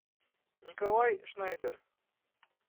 николай шнайдер